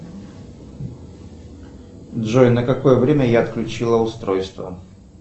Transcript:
джой на какое время я отключила устройство